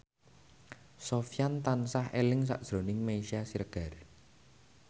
Sofyan tansah eling sakjroning Meisya Siregar